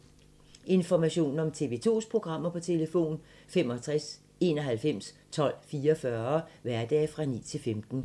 Information om TV 2's programmer: 65 91 12 44, hverdage 9-15.